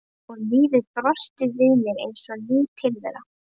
Og lífið brosti við mér eins og ný tilvera.